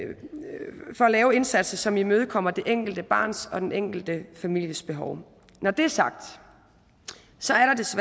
lave indsatser som imødekommer det enkelte barns og den enkelte families behov når det er sagt